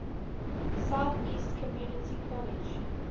southeast community college